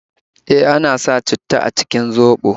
E, ana sa citta a cikin zoɓo